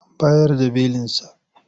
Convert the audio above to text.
An bayar da belinsa?